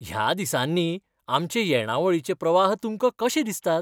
ह्या दिसांनी आमचे येणावळीचे प्रवाह तुमकां कशे दिसतात?